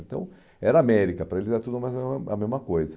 Então era América, para eles era tudo a mesma coisa.